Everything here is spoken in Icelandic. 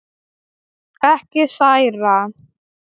Ekki særa.